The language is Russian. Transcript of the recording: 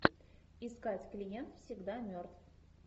искать клиент всегда мертв